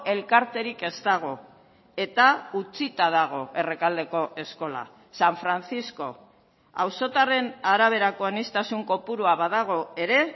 elkarterik ez dago eta utzita dago errekaldeko eskola san francisco auzotarren araberako aniztasun kopurua badago ere